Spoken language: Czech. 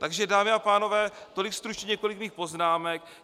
Takže dámy a pánové, tolik stručně několik mých poznámek.